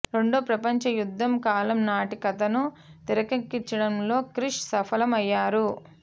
రెండో ప్రపంచ యుద్ధం కాలం నాటి కథను తెరకెక్కించడంలో క్రిష్ సఫలం అయ్యారు